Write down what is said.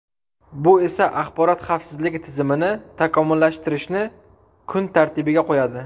Bu esa axborot xavfsizligi tizimini takomillashtirishni kun tartibiga qo‘yadi.